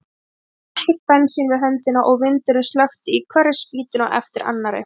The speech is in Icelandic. Við höfðum ekkert bensín við höndina og vindurinn slökkti í hverri spýtunni á eftir annarri.